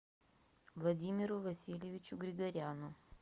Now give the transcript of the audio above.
владимиру васильевичу григоряну